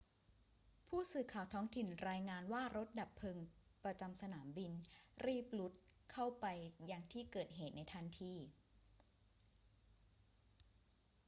ผู้สื่อข่าวท้องถิ่นรายงานว่ารถดับเพลิงประจำสนามบินรีบรุดเข้าไปยังที่เกิดเหตุในทันที